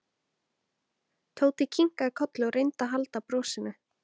Tóti kinkaði kolli og reyndi að halda brosinu.